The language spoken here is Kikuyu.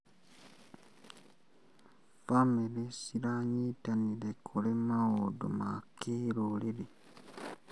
Bamĩrĩ ciranyitanĩra kũrĩ maũndũ ma kĩrũrĩrĩ.